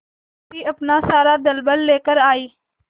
विपत्ति अपना सारा दलबल लेकर आए